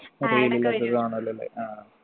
കാണുവല്ലോല്ലേ ആ